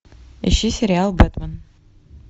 ищи сериал бэтмен